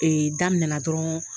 Ee daminɛna dɔrɔn